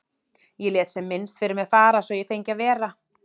Ég lét sem minnst fyrir mér fara svo að ég fengi að vera.